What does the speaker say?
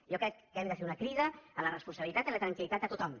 jo crec que hem de fer una crida a la responsabilitat i a la tranquil·litat de tothom